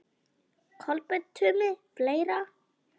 Kolbeinn Tumi Fleira?